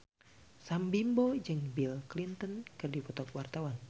Sam Bimbo jeung Bill Clinton keur dipoto ku wartawan